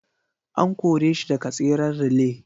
An kore shi daga tseren relay.